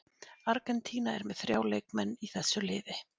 Argentína er með þrjá leikmenn í þessu liði.